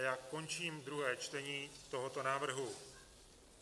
A já končím druhé čtení tohoto návrhu.